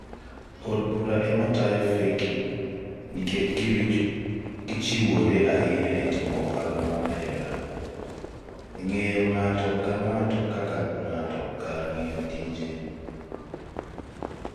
@millardayo Od Bura ema tayo feki nikech gichiwore ahinya e timo ohala mar hera & ng'eyo ng'ato ka ng'ato kar ng'iyo tije #VyetiFeki ? Felix Milinga (@FMilinga) May 1, 2017